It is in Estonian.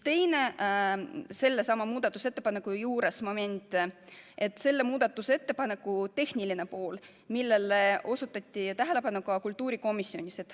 Ja sellesama muudatusettepaneku juures on teinegi moment, selle tehniline pool, millele osutati tähelepanu ka kultuurikomisjonis.